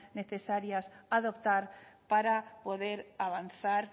necesarias adoptar para poder avanzar